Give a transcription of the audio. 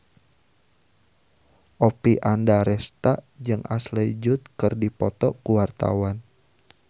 Oppie Andaresta jeung Ashley Judd keur dipoto ku wartawan